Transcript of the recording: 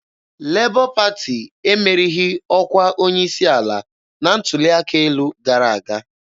Lebọ Pati emerighị ọkwa onye isi ala na ntuli aka elu gara aga.